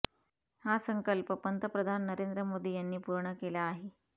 हा संकल्प पंतप्रधान नरेंद्र मोदी यांनी पूर्ण केला आहे